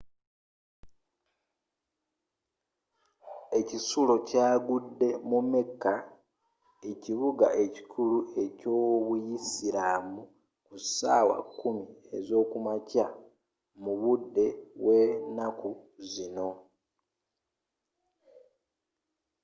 ekisulo kyagudde mu mecca ekibuga ekikulu eky'obuyisiraamu ku sawa 10 ezokumakya mu budde bwe naku zino